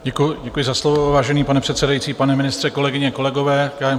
Děkuji za slovo, vážený pane předsedající, pane ministře, kolegyně, kolegové.